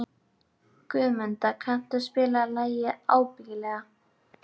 Guðmunda, kanntu að spila lagið „Ábyggilega“?